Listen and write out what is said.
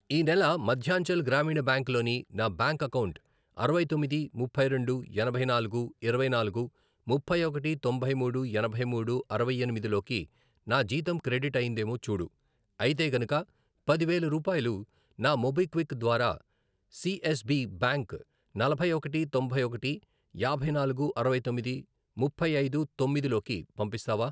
ఈ నెల మధ్యాంచల్ గ్రామీణ బ్యాంక్ లోని నా బ్యాంక్ అకౌంటు అరవై తొమ్మిది, ముప్పై రెండు, ఎనభై నాలుగు, ఇరవై నాలుగు, ముప్పై ఒకటి, తొంభై మూడు, ఎనభై మూడు, అరవై ఎనిమిది, లోకి నా జీతం క్రెడిట్ అయ్యిందేమో చూడు, అయితే గనుక పది వేలు రూపాయలు ని మోబిక్విక్ ద్వారా సి ఎస్ బి బ్యాంక్ నలభై ఒకటి, తొంభై ఒకటి, యాభై నాలుగు, అరవై తొమ్మిది, ముప్పై ఐదు, తొమ్మిది, లోకి పంపిస్తావా?